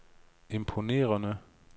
imponerende